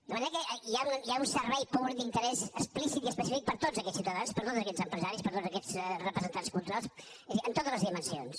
de manera que hi ha un servei públic d’interès explícit i específic per a tots aquests ciutadans per a tots aquests empresaris per a tots aquests representants culturals és a dir en totes les dimensions